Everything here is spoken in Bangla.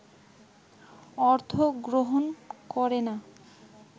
অর্থ গ্রহণ করে না